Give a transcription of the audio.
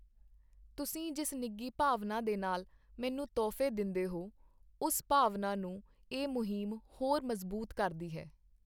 ਤੁਸੀਂ ਜਿਸ ਨਿੱਘੀ ਭਾਵਨਾ ਦੇ ਨਾਲ ਮੈਨੂੰ ਤੋਹਫ਼ੇ ਦਿੰਦੇ ਹੋ, ਉਸ ਭਾਵਨਾ ਨੂੰ ਇਹ ਮੁਹਿੰਮ ਹੋਰ ਮਜ਼ਬੂਤ ਕਰਦੀ ਹੈ।